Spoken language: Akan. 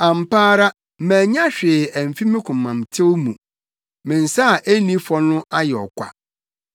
Ampa ara, mannya hwee amfi me komamtew mu; me nsa a enni fɔ no ayɛ ɔkwa.